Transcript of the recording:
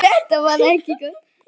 Hvaða skoðun hefurðu á Val?